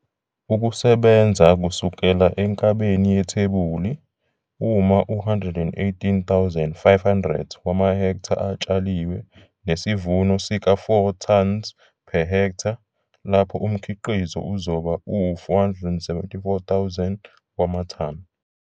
Ukusebenza kusukela enkabeni yethebuli, uma u-118 500 wamahektha atshaliwe nesivuno sika-4 tons per ha, lapho umkhiqizo uzoba u-474 000 wamathani.